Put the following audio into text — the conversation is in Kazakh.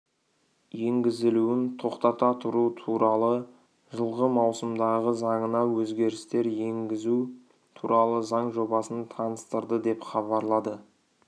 енгізілуін тоқтата тұру туралы жылғы маусымдағы заңына өзгерістер енгізу туралы заң жобасын таныстырды деп хабарлады